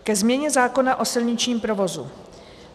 Ke změně zákona o silničním provozu.